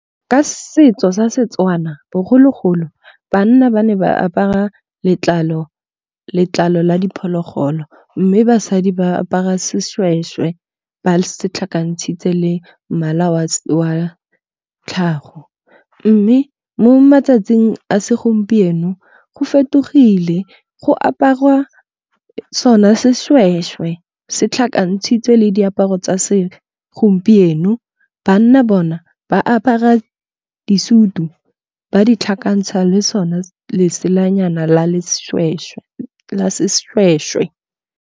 Ka setso sa Setswana bogologolo ba nna ba ne ba apara letlalo la diphologolo, mme basadi ba apara seshweshwe ba se tlhakantshitse le mmala wa tlhago. Mme mo matsatsing a segompieno go fetogile go aparwa sona seshweshwe se tlhakantshitswe le diaparo tsa se gompieno. Banna bona ba apara disutu ba di tlhakantsha le sone leselanyana la seshweshwe.